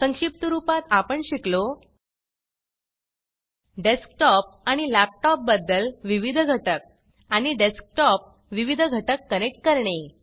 संक्षिप्त रूपात आपण शिकलो डेस्कटॉप आणि लॅपटॉप बद्दल विविध घटक आणि डेस्कटॉप विविध घटक कनेक्ट करणे